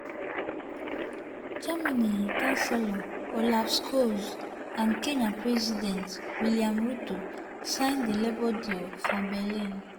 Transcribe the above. germany chancellor olaf scholz and kenya president william ruto sign di labour deal for berlin.